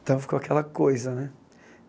Então, ficou aquela coisa, né?